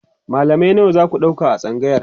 mallamai nawa zaku ɗauka a tsangayar?